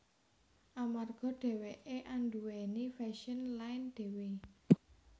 Amarga dheweké anduwèni fashion line dhewe